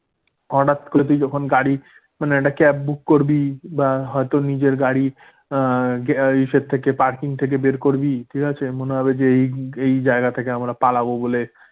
হঠাৎ করে তুই যখন গাড়ি, মানে একটা cab book করবি? বা হয়তো নিজের গাড়ি ইসে থেকে parking থেকে বের করবে ঠিক আছে? মনে হবে যে এই এই জায়গা থেকে আমরা পালাবো বলে